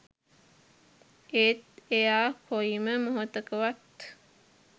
ඒත් එයා කොයිම මොහොතකවත්